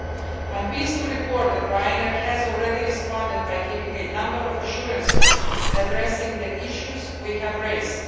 I am pleased to report that the Ryanair has already responded by giving a number of assurances addressing the issues we have raised.